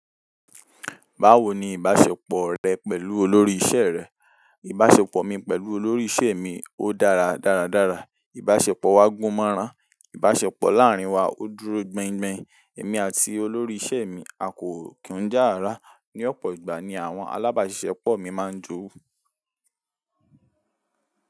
Báwo ni ìbasepo re pélu olórí isé re. Ìbáṣepọ̀ mi pẹ̀lú olórí ìṣe mi, ó dára dáradára. Ìbáṣepọ̀ wa gún mọ́ran. Ìbáṣepọ̀ láàárín wa ó dúró gbengben. Èmi àti olórí ìṣe mi a kò kí n já rárá ni ọ̀pọ̀ ìgbà ni àwọn alábáṣepọ̀ mi máa ń jó wu.